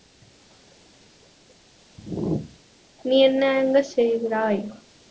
நீ என்ன அங்கு செய்கிறாய்